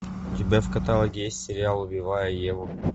у тебя в каталоге есть сериал убивая еву